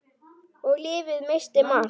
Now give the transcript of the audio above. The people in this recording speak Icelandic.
Og lyfið missti marks.